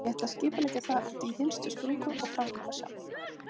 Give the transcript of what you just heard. Ég ætla að skipuleggja það út í hinstu sprungu, og framkvæma sjálf.